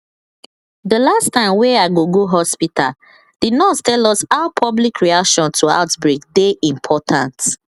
dey last time wey i go go hospitalthe nurse tell us how public reaction to outbreak dey important